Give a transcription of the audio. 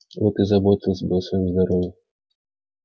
вот и заботились бы о своём здоровье